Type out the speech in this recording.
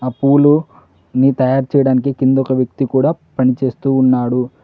అ పూలు ని తయారు చేయడానికి కింద ఒక వ్యక్తి కూడా పనిచేస్తూ ఉన్నాడు.